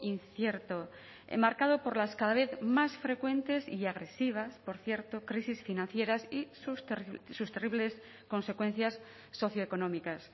incierto enmarcado por las cada vez más frecuentes y agresivas por cierto crisis financieras y sus terribles consecuencias socioeconómicas